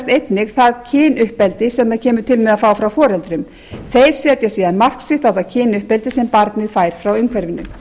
kynuppeldi sem það kemur til með að fá frá foreldrum þeir setja síðan mark sitt á það kynuppeldi sem barnið fær frá umhverfinu